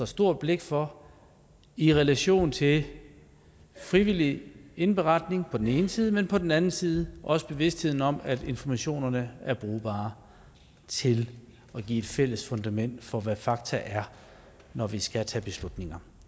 stort blik for i relation til frivillig indberetning på den ene side men på den anden side også bevidstheden om at informationerne er brugbare til at give et fælles fundament for hvad fakta er når vi skal tage beslutninger